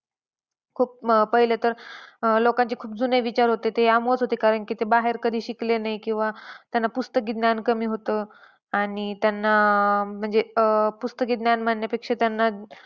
खूप अह पहिले तर अह लोकांचे खूप जुने विचार होते. ते यामुळेच होते कारण की ते बाहेर कधी शिकले नाहीत किंवा त्यांना पुस्तकी ज्ञान कमी होतं आणि त्यांना आह म्हणजे अं पुस्तकी ज्ञान म्हणण्यापेक्षा त्यांना.